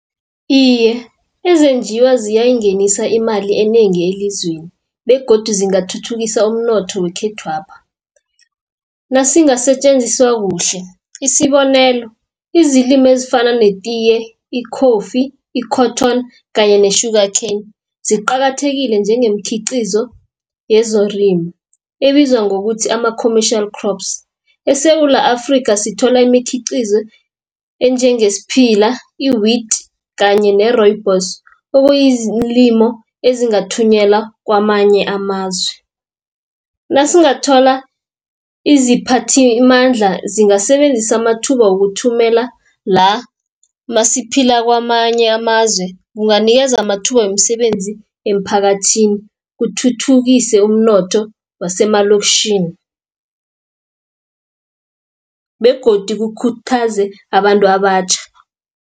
Iye ezenjiwa ziyayingenisa imali enengi elizweni, begodu zingathuthukisa umnotho wekhethwapha. Nasingasetjenziswa kuhle, isibonelo izilimi ezifana netiye, i- coffee, i-cotton kanye ne-sugar cane. Ziqakathekile njengemikhiqizo yezorini, ebizwa ngokuthi ama-commercial crops. ESewula Afrika sithola imikhiqizo enjenge sphila, i-wheet kanye ne-rooibos okuyizilimo ezingathunyelwa kwamanye amazwe. Nasingathola iziphathimandla zingasebenzisa amathuba wokuthumela la, masiphila kwamanye amazwe kunganikeza amathuba wemisebenzi emphakathini, kuthuthukise umnotho wasemaloktjhini begodu kukhuthaze abantu abatjha.